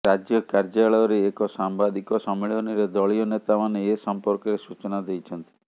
ରାଜ୍ୟ କାର୍ଯ୍ୟାଳୟରେ ଏକ ସାମ୍ବାଦିକ ସମ୍ମିଳନୀରେ ଦଳୀୟ ନେତାମାନେ ଏ ସଂପର୍କରେ ସୂଚନା ଦେଇଛନ୍ତି